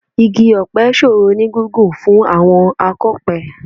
Igi ọ̀pẹ ṣòro ní gígùn fún àwọn akọ̀pẹ